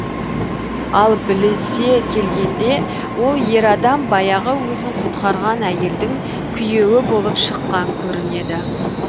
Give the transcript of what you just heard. ал білісе келгенде ол ер адам баяғы өзін құтқарған әйелдің күйеуі болып шыққан көрінеді